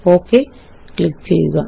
okay click ചെയ്യുക